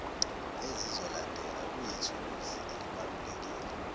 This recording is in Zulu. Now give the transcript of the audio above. ezizolandela kuyithuluzi elibalulekile